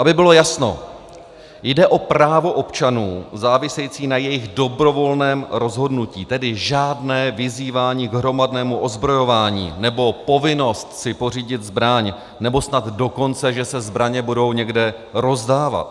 Aby bylo jasno, jde o právo občanů závisející na jejich dobrovolném rozhodnutí, tedy žádné vyzývání k hromadnému ozbrojování, nebo povinnost si pořídit zbraň, nebo snad dokonce, že se zbraně budou někde rozdávat.